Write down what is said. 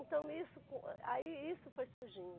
Então, isso co, aí isso foi surgindo.